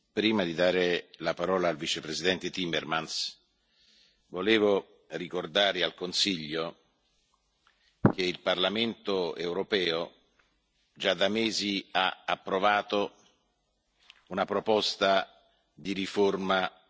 Prima di dare la parola al Vicepresidente Timmermans, volevo ricordare al Consiglio che il Parlamento europeo, già da mesi, ha approvato una proposta di riforma